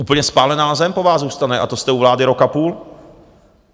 Úplně spálená zem po vás zůstane, a to jste u vlády rok a půl!